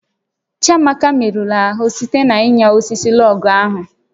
Chiamaka merụrụ ahụ site na ịnya osisi lọọgụ̀ ahụ